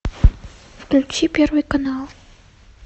включи первый канал